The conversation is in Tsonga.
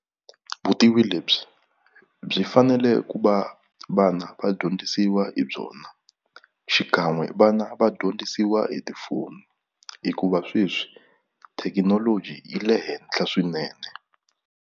Vutivi lebyi byi fanele ku va vana va dyondzisiwa hi byona xikan'we vana va dyondzisiwa hi tifoni hikuva sweswi thekinoloji yi le henhla swinene.